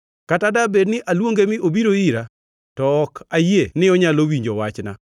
Kata dabed ni aluonge mi obiro ira, to ok ayie ni onyalo winjo wachna.